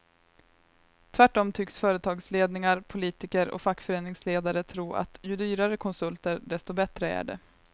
Tvärtom tycks företagsledningar, politiker och fackföreningsledare tro att ju dyrare konsulter desto bättre är det.